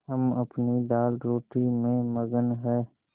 हम अपनी दालरोटी में मगन हैं